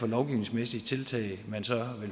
lovgivningsmæssige tiltag